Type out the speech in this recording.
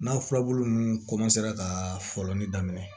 N'a furabulu ninnu ka fɔlɔni daminɛ